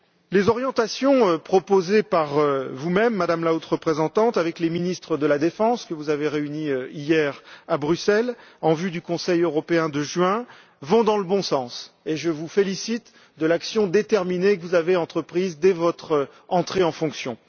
Les orientations que vous proposez, Madame la Haute représentante, avec les ministres de la défense que vous avez réunis hier, à Bruxelles, en vue du Conseil européen de juin, vont dans le bon sens, et je vous félicite de l'action déterminée que vous avez entreprise dès votre entrée en fonction.